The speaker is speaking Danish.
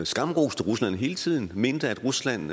skamroste rusland hele tiden og mente at rusland